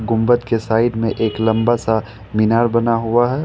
गुंबद के साइड में एक लंबा सा मीनार बना हुआ है।